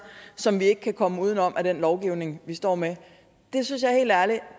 som vi ikke kan komme udenom af den lovgivning vi står med det synes